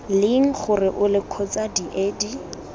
leng gore ole kgotsa diedi